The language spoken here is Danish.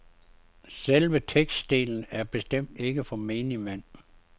Selve tekstdelen er bestemt ikke for menigmand.